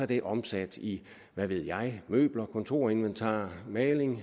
det omsat i hvad ved jeg møbler kontorinventar maling